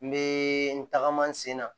N bɛ n tagama n sen na